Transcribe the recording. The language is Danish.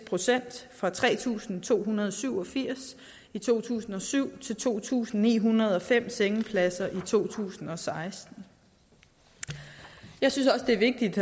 procent fra tre tusind to hundrede og syv og firs i to tusind og syv til to tusind ni hundrede og fem sengepladser i to tusind og seksten jeg synes også det er vigtigt